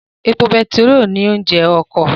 Epo betiró ni oúnjẹ ọkọ